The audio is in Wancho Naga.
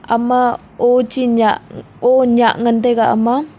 ama o che nyah o nyah ngan taiga ama.